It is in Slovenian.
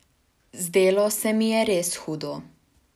Zdelo se mi je res hudo.